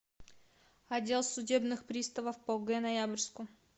отдел судебных приставов по г ноябрьску